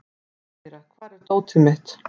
Amíra, hvar er dótið mitt?